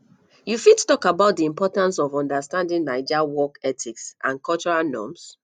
you fit talk about di importance of understanding naija work ethics and cultural norms